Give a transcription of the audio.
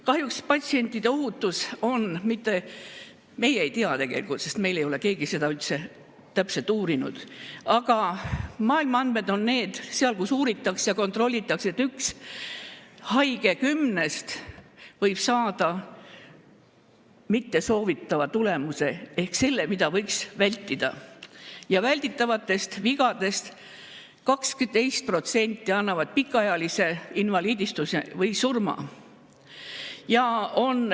Kahjuks me ei tea seda tegelikult, sest meil ei ole keegi seda üldse täpselt uurinud, aga maailma andmed on need – seal, kus seda uuritakse ja kontrollitakse –, et üks haige kümnest võib saada mittesoovitava tulemuse ehk selle, mida võiks vältida, ja välditavatest vigadest 12% tekitavad pikaajalise invaliidistumise või surma.